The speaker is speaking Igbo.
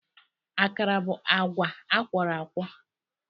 Akara bụ agwa akwọrọakwọ